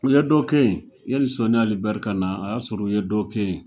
U ye dɔ kɛ ye, yani Soni Ali Ber kana a y'a sɔrɔ u ye dɔ kɛ ye.